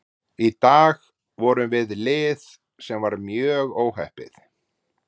Í dag vorum við lið sem var mjög óheppið.